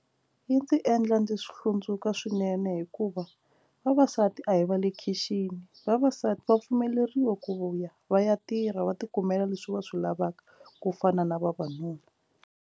Yi ndzi endla ndzi hlundzuka swinene hikuva vavasati a hi va le khixini vavasati va pfumeleriwa ku ya va ya tirha va tikumela leswi va swi lavaka ku fana na vavanuna.